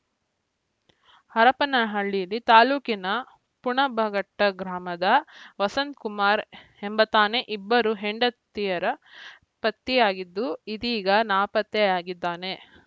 ಹರಪನಹಳ್ಳಿ ತಾಲೂಕಿನ ಪುಣಬಘಟ್ಟಗ್ರಾಮದ ವಸಂತಕುಮಾರ ಎಂಬಾತನೇ ಇಬ್ಬರು ಹೆಂಡಿತಿಯರ ಪತಿಯಾಗಿದ್ದು ಇದೀಗ ನಾಪತ್ತೆಯಾಗಿದ್ದಾನೆ